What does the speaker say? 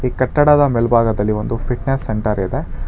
ಈ ಕಟ್ಟಡದ ಮೇಲ್ಭಾಗದಲ್ಲಿ ಒಂದು ಫಿಟ್ನೆಸ್ ಸೆಂಟರ್ ಇದೆ.